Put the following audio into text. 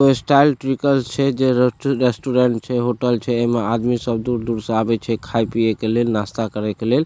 कोई स्टाइल ट्रिकल छै जे रेस्टोरेंट छै होटल छै एमे आदमी सब दूर-दूर से आवे छै खाए पिए ले लिए नास्ता करे के लेय --